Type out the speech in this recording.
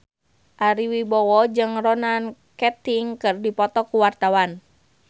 Ari Wibowo jeung Ronan Keating keur dipoto ku wartawan